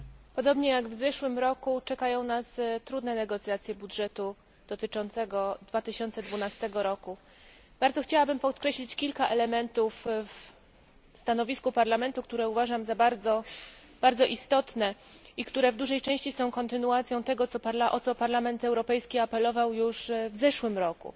Podobnie jak w zeszłym roku czekają nas trudne negocjacje budżetu na 2012 rok. Chciałabym bardzo podkreślić kilka elementów w stanowisku Parlamentu, które uważam za bardzo istotne i które w dużej części są kontynuacją tego, o co Parlament Europejski apelował już w zeszłym roku.